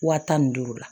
Wa tan ni duuru la